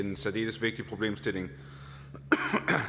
en særdeles vigtig problemstilling